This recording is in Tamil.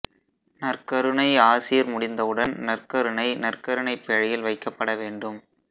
நற்கருணை ஆசீர் முடிந்தவுடன் நற்கருணை நற்கருணை பேழையில் வைக்கப்பட வேண்டும்